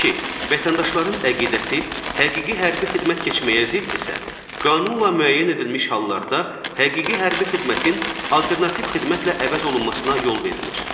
Vətəndaşların əqidəsi həqiqi hərbi xidmət keçməyə ziddirsə, qanunla müəyyən edilmiş hallarda həqiqi hərbi xidmətin alternativ xidmətlə əvəz olunmasına yol verilir.